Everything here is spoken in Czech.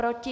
Proti?